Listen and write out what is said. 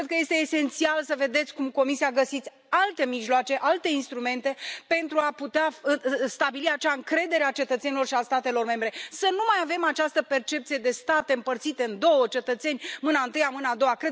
Cred că este esențial să vedeți cum Comisia găsește alte mijloace, alte instrumente pentru a putea stabili acea încredere a cetățenilor și a statelor membre, să nu mai avem această percepție de state împărțite în două cetățeni mâna întâia mâna a doua.